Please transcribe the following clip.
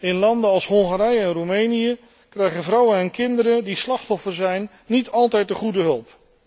In landen als Hongarije en Roemenië krijgen vrouwen en kinderen die slachtoffer zijn, niet altijd de goede hulp.